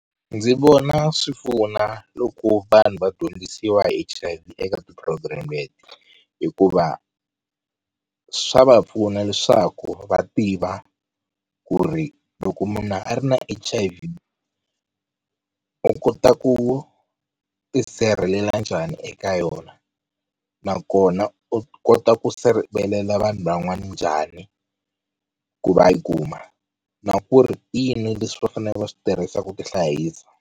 Ndzi vona swi pfuna loko vanhu va dyondzisiwa hi H_I_V eka ti-program-i, hikuva swa va pfuna leswaku va tiva ku ri loko munhu a ri na H_I_V u kota ku tisirhelela njhani eka yona nakona u kota ku sirhelela vanhu van'wana njhani ku va yi kuma na ku ri i yini leswi va faneleke va swi tirhisa ku tihlayisa.